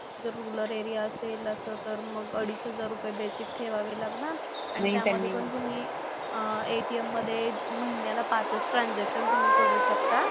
जर rural area असेल असं तर मग अडीच हजार रुपये बेसिक ठेवावे लागणार. आणि त्याचं पण तुम्ही अह ATM मधे महिन्याला पाचच ट्रांझॅक्शन तुम्ही करू शकता.